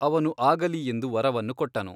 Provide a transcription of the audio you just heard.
ಅವನು ಆಗಲಿ ಎಂದು ವರವನ್ನು ಕೊಟ್ಟನು.